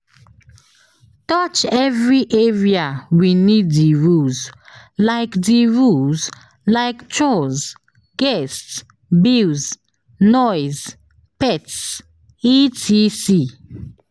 Touch every area we need di rules like di rules like chores, guests, bills, noise, pets etc.